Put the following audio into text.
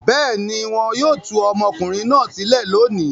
Bẹ́ẹ̀ ni, wọn yóò tú ọmọkùnrin náà sílẹ̀ lónìí.